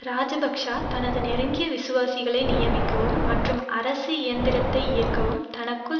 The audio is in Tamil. இராஜபக்ஷ தனது நெருங்கிய விசுவாசிகளை நியமிக்கவும் மற்றும் அரசு இயந்திரத்தை இயக்கவும் தளக்குள்ள